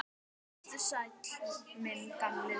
Vertu sæll, minn gamli vinur.